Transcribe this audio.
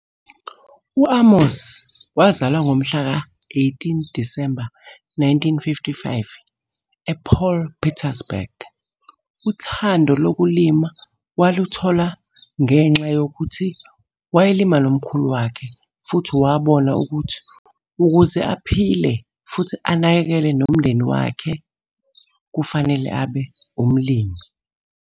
U-Amos wazalwa ngomhla ka-18 Disemba 1955 e-Paul Pietersburg. Uthando lokulima waluthola ngengxa yokuthi wayelima nomkhulu wakhe futhi wabona ukuthi ukuze aphile futhi anakekele nomndeni wakhe, kufanele abe umlimi.